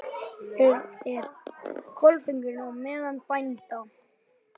En er klofningur á meðal bænda?